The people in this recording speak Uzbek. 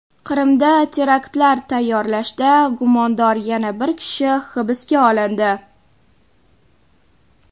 Qrimda teraktlar tayyorlashda gumondor yana bir kishi hibsga olindi.